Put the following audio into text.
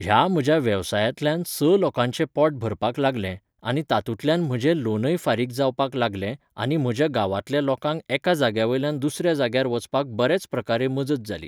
ह्या म्हज्या वेवसायांतल्यान स लोकांचें पोट भरपाक लागलें आनी तातुंल्यान म्हजे लोनय फारीक जावपाक लागलें आनी म्हज्या गांवातल्या लोकांक एका जाग्यावयल्यान दुसऱ्या जाग्यार वचपाक बरेच प्रकारे मजत जाली.